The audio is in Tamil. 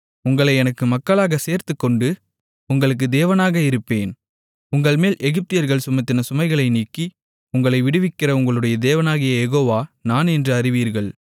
உங்களை எனக்கு மக்களாகச் சேர்த்துக்கொண்டு உங்களுக்கு தேவனாக இருப்பேன் உங்கள்மேல் எகிப்தியர்கள் சுமத்தின சுமைகளை நீக்கி உங்களை விடுவிக்கிற உங்களுடைய தேவனாகிய யெகோவா நான் என்று அறிவீர்கள்